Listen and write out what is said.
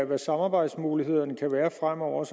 hvad samarbejdsmulighederne kan være fremover